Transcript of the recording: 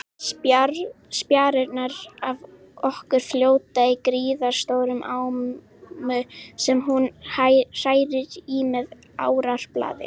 Spjarirnar af okkur fljóta í gríðarstórri ámu sem hún hrærir í með árarblaði.